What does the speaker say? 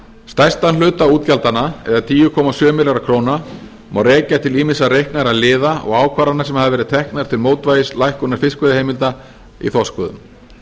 stærstan hluta útgjaldanna eða tíu komma sjö milljarða króna má rekja til ýmissa reiknaðra liða og ákvarðana sem hafa verið teknar til mótvægis lækkunar fiskveiðiheimilda í þorskveiðum